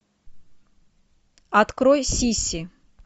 открой сиси